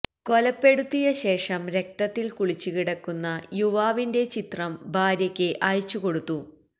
കൊലപ്പെടുത്തിയ ശേഷം രക്തത്തില് കുളിച്ച് കിടക്കുന്ന യുവാവിന്റെ ചിത്രം ഭാര്യയ്ക്ക് അയച്ച് കൊടുത്തു